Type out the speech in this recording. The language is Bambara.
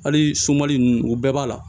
Hali sunmali nunnu u bɛɛ b'a la